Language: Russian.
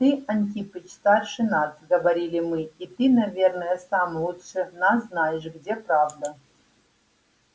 ты антипыч старше нас говорили мы и ты наверно сам лучше нас знаешь где правда